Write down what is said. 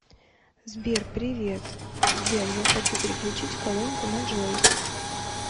сбер привет сбер я хочу переключить колонку на джой